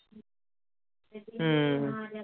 ਹਮ